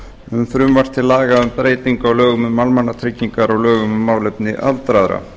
um frumvarp til laga um breytingu á lögum um almannatryggingar og lögum um málefni aldraðra